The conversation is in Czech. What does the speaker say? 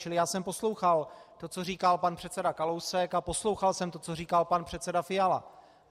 Čili já jsem poslouchal to, co říkal pan předseda Kalousek, a poslouchal jsem to, co říkal pan předseda Fiala.